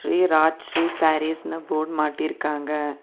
ஸ்ரீ ராஜ்ஸ்ரீ சாரீஸ்னு போர்டு மாட்டிருக்காங்க.